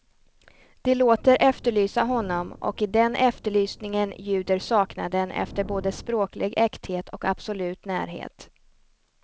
De låter efterlysa honom, och i den efterlysningen ljuder saknaden efter både språklig äkthet och absolut närhet.